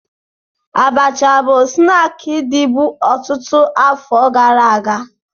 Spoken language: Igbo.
Abacha bụ snaakị dịbu ọtụtụ afọ gara aga